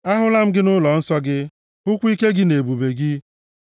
Ahụla m gị nʼụlọnsọ gị, hụkwa ike gị na ebube gị.